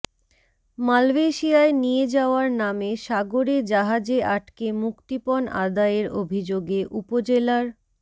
মালয়েশিয়ায় নিয়ে যাওয়ার নামে সাগরে জাহাজে আটকে মুক্তিপণ আদায়ের অভিযোগে উপজেলার